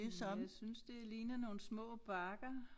Hm jeg synes det ligner nogle små bakker